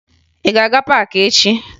Ị ga-aga paakị echi?